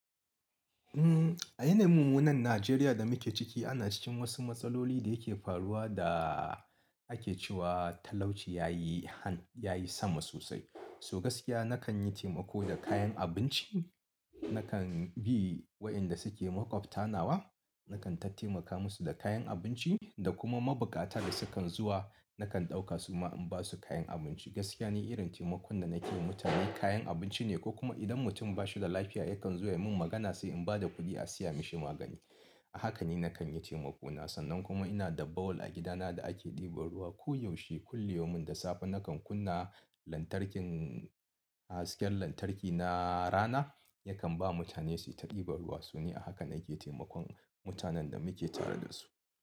A yanayin mummunan Najeriya da muke ciki ana cikin wasu matsaloli da yake faruwa da ake cewa talauci ya yi han, ya yi sama sosai. So gaskiya nakan yi taimako da kayan abinci. Nakan bi wa'inda suke makwabta nawa, nakan ta taimaka musu da kayan abinci da kuma mabukata da sukan zuwa nakan ɗauka su ma in ba su kayan abin ci. Gaskiya ni irin taimakon da nake yi wa mutane kayan abinci ne ko kuma idan mutum ba shi da lafiya yakan zo ya min magana sai in ba da kuɗi a siya mishi magani. A haka ne nakan yi taimako na, sannan kuma ina da bahol a gidana da ake ɗeba ruwa. Ko yaushe kulli yaumin da safe nakan kunna lantarkin, hasken lantarki na rana yakan ba mutane su yi ta ɗiba ruwa. So ni a haka nake taimakon mutanen da muke tare da su.